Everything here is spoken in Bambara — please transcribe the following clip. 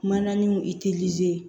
Mananinw